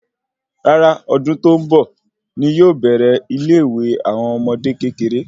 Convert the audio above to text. Rárá ọdún tó ń bọ̀ ní yóò bèrè ile ìwé àwọn ọmọdé kékeré